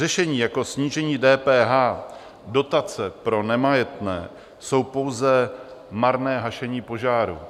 Řešení jako snížení DPH, dotace pro nemajetné, jsou pouze marné hašení požáru.